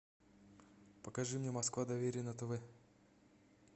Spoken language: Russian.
покажи мне москва доверие на тв